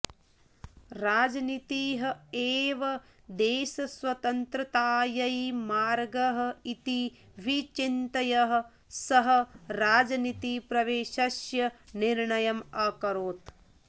राजनीतिः एव देशस्वतन्त्रतायै मार्गः इति विचिन्त्य सः राजनीतिप्रवेशस्य निर्णयम् अकरोत्